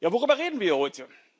Worüber reden wir heute?